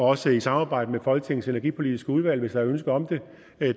også i et samarbejde med folketingets energipolitiske udvalg hvis der er ønske om